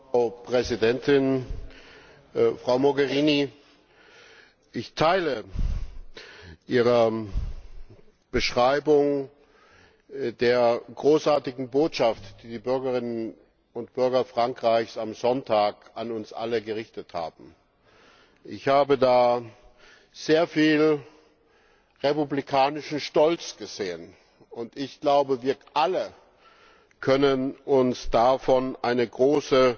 Frau Präsidentin! Frau Mogherini, ich teile Ihre Beschreibung der großartigen Botschaft, die die Bürgerinnen und Bürger Frankreichs am Sonntag an uns alle gerichtet haben. Ich habe da sehr viel republikanischen Stolz gesehen. Wir alle können uns davon eine große